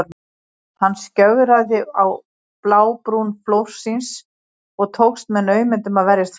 Hann skjögraði á blábrún flórsins og tókst með naumindum að verjast falli.